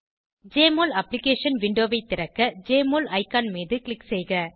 JMOL application விண்டோவை திறக்க JMOL icon மீது க்ளிக் செய்க